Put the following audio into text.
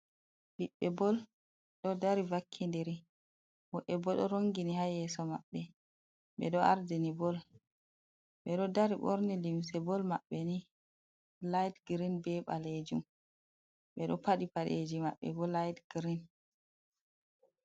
Biɓbe bol ɗo dari vakki'ndiri, woɓɓe bo ɗo rongini ha yeso maɓɓe ɓe ɗo ardini bol. Ɓe ɗo dari ɓorni limse bol maɓɓe ni light green be ɓalejum, ɓe ɗo paɗi paɗeji maɓɓe bo light green.